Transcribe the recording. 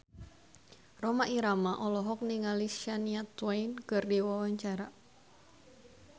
Rhoma Irama olohok ningali Shania Twain keur diwawancara